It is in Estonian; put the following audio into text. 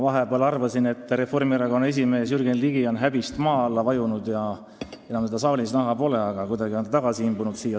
Ma arvasin vahepeal, et Reformierakonna esimees Jürgen Ligi on häbist maa alla vajunud ja enam teda saalis näha pole, aga kuidagi on ta siia tagasi imbunud.